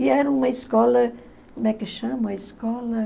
E era uma escola, como é que chama a escola?